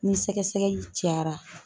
Ni sɛgɛsɛgɛli cayara